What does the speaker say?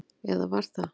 Eða var það?